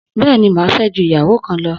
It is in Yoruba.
Bẹ́ẹ̀ni, máa fẹ́ ju ìyàwó kan lọ